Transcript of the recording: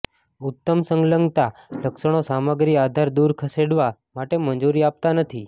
ઉત્તમ સંલગ્નતા લક્ષણો સામગ્રી આધાર દૂર ખસેડવા માટે મંજૂરી આપતા નથી